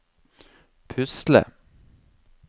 pusle